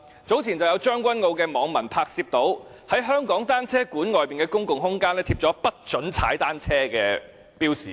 早前，將軍澳的網民拍攝到，在香港單車公園的公共空間，貼上"請勿踏單車"的標示。